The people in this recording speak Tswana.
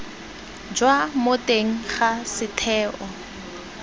jwa mo teng ga setheo